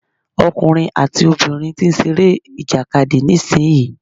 Ọkùnrin àti obìnrin tí ń ṣe eré ìjàkadì nísìyí.